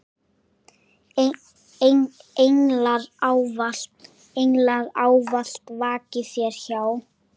Englar ávallt vaki þér hjá.